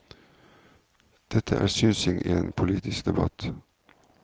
Dette er synsing i en politisk debatt.